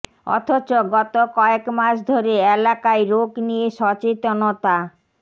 অথচ গত কয়েক মাস ধরে এলাকায় রোগ নিয়ে সচেতনতা